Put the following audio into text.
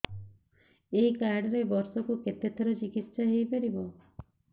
ଏଇ କାର୍ଡ ରେ ବର୍ଷକୁ କେତେ ଥର ଚିକିତ୍ସା ହେଇପାରିବ